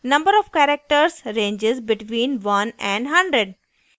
number of characters ranges between 1 and 100